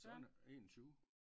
Søren er 21